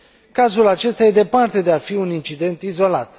Cazul acesta este departe de a fi un incident izolat.